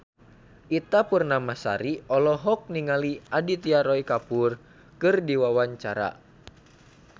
Ita Purnamasari olohok ningali Aditya Roy Kapoor keur diwawancara